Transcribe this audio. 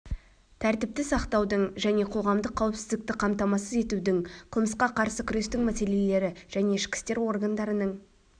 тәртіпті сақтаудың және қоғамдық қауіпсіздікті қамтамасыз етудің қылмысқа қарсы күрестің мәселелері және ішкі істер органдарының